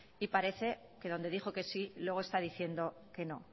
y parece que donde dijo que sí luego está diciendo que no